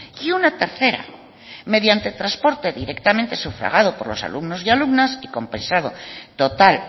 y una tercera mediante transporte directamente sufragado por los alumnos y alumnas compensado total